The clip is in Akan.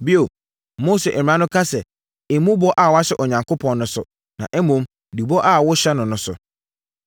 “Bio, Mose mmara no ka sɛ, ‘Mmu bɔ a woahyɛ Onyankopɔn no so, na mmom, di bɔ a woahyɛ no no so.’